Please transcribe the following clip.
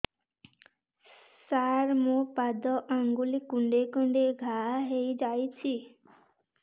ସାର ମୋ ପାଦ ଆଙ୍ଗୁଳି କୁଣ୍ଡେଇ କୁଣ୍ଡେଇ ଘା ହେଇଯାଇଛି